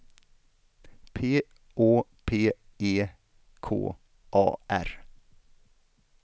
P Å P E K A R